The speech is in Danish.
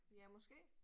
Ja måske